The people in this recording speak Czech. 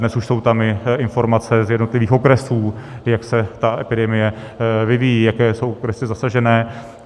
Dnes už tam jsou i informace z jednotlivých okresů, jak se ta epidemie vyvíjí, jaké jsou okresy zasažené.